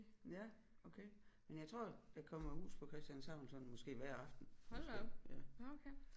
Ja okay men jeg tror der kommer huset på Christianshavn sådan måske hver aften måske ja